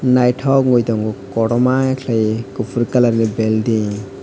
naitok wngoi tongo kotorma kelai ye kopor colour ni belding .